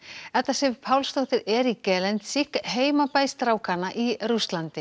Edda Sif Pálsdóttir er í heimabæ strákanna í Rússlandi